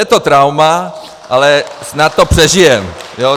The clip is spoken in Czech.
Je to trauma, ale snad to přežijeme.